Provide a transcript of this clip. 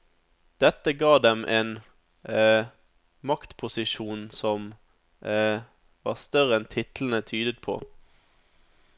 Dette ga dem en maktposisjon som var større enn titlene tydet på.